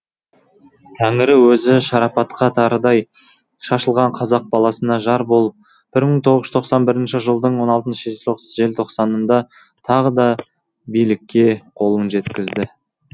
тәңірі өзі шартарапқа тарыдай шашылған қазақ баласына жар болып бір мың тоғыз жүз тоқсан бірінші жылдың он алтыншы желтоқсанында тағы да билікке қолын жеткізді